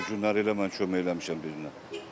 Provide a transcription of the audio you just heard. O günləri elə mən kömək eləmişəm bir günə.